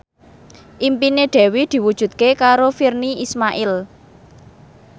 impine Dewi diwujudke karo Virnie Ismail